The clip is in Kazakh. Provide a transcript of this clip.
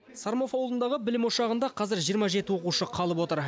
сормов ауылындағы білім ошағында қазір жиырма жеті оқушы қалып отыр